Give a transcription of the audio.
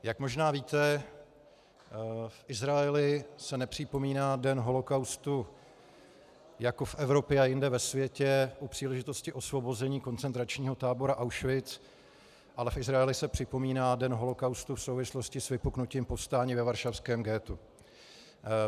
Jak možná víte, v Izraeli se nepřipomíná Den holokaustu jako v Evropě a jinde ve světě u příležitosti osvobození koncentračního tábora Auschwitz, ale v Izraeli se připomíná Den holokaustu v souvislosti s vypuknutím povstání ve varšavském ghettu.